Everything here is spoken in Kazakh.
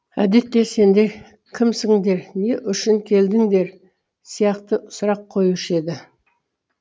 әдетте сендер кімсіңдер не үшін келдіңдер сияқты сұрақ қойушы еді